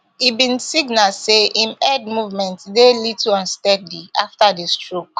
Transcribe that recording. e bin signal say im head movements dey little unsteady afta di stroke